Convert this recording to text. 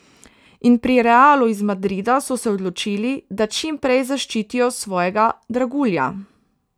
In pri Realu iz Madrida so se odločili, da čim prej zaščitijo svojega dragulja.